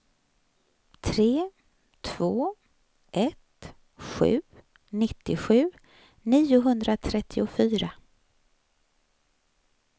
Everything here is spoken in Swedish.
tre två ett sju nittiosju niohundratrettiofyra